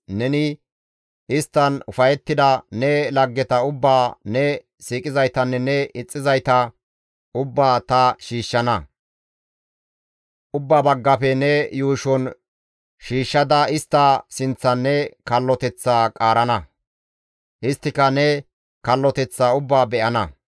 neni isttan ufayettida ne laggeta ubbaa, ne siiqizaytanne ne ixxizayta ubbaa ta shiishshana; ubba baggafe ne yuushon shiishshada istta sinththan ne kalloteththaa ta qaarana; isttika ne kalloteththaa ubbaa be7ana.